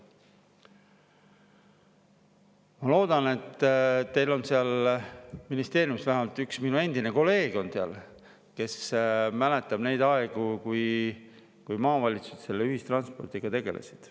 Ma loodan, et teil on seal ministeeriumis, vähemalt üks minu endine kolleeg, kes mäletab neid aegu, kui maavalitsused ühistranspordiga tegelesid.